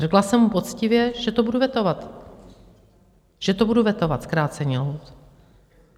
Řekla jsem mu poctivě, že to budu vetovat, že to budu vetovat, zkrácení lhůt.